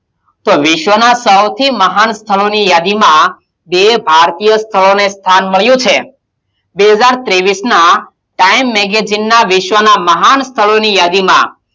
તો વિશ્વનાં સૌથી મહાન સ્થળોની યાદીમાં બે ભારતીય સ્થળોને સ્થાન મળ્યું છે. બે હજાર ત્રેવીશનાં time magazine નાં વિશ્વનાં મહાન સ્થળોની યાદીમાં,